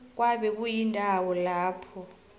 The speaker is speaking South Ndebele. kwabe kuyindawo lapha